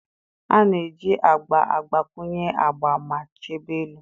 A na-eji agba agbakwunye agba ma chebe elu.